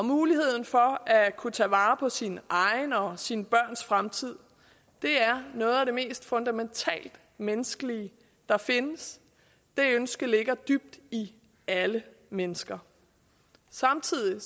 muligheden for at kunne tage vare på sine egne og sine børns fremtid er noget af det mest fundamentalt menneskelige der findes det ønske ligger dybt i alle mennesker samtidig